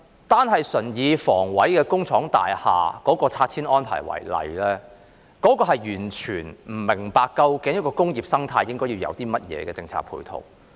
單純以香港房屋委員會工廠大廈的拆遷安排為例，完全不明白究竟一個工業生態應該要有甚麼政策配套。